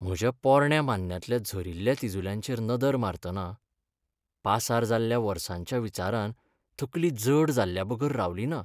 म्हज्या पोरण्या मान्न्यांतल्या झरील्ल्या तिजुल्यांचेर नदर मारतना, पासार जाल्ल्या वर्सांच्या विचारान तकली जड जाल्ल्याबगर रावलीना.